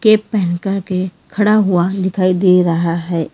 ऐ पहन करके खड़ा हुआ दिखाई दे रहा है।